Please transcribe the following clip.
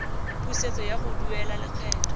pusetso ya go duela lekgetho